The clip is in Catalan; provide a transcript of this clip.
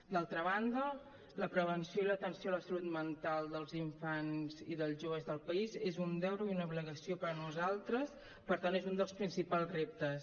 d’altra banda la prevenció i l’atenció a la salut mental dels infants i dels joves del país és un deure i una obligació per a nosaltres per tant és un dels principals reptes